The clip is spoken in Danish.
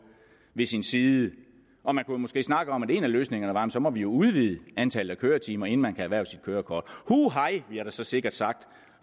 ved sin side og man kunne måske snakke om at en af løsningerne så var at vi må udvide antallet af køretimer inden man kan erhverve sit kørekort huhej bliver der så sikkert sagt